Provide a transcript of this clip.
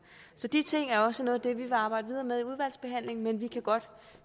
så de ting er også noget af det vi vil arbejde videre med i udvalgsbehandlingen men vi kan godt